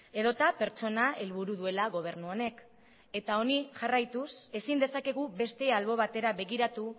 edota pertsona helburu duela gobernu honek eta honi jarraituz ezin dezakegu beste albo batera begiratu